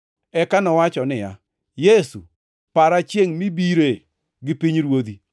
Eka nowacho niya, “Yesu, para chiengʼ mibire gi pinyruodhi.”